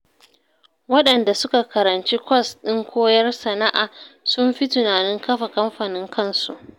Waɗanda suka karanci kwas ɗin koyar sana'a, sun fi tunanin kafa kamfanin kansu